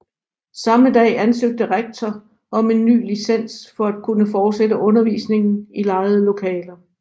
Samme dag ansøgte rektor om en ny licens for at kunne fortsætte undervisningen i lejede lokaler